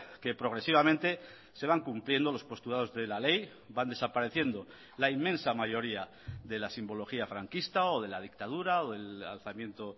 que progresivamente se van cumpliendo los postulados de la ley van desapareciendo la inmensa mayoría de la simbología franquista o de la dictadura o del alzamiento